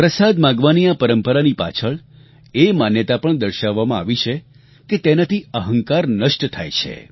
પ્રસાદ માંગવાની આ પરંપરાની પાછળ એ માન્યતા પણ દર્શાવવામાં આવી છે કે તેનાથી અહંકાર નષ્ટ થાય છે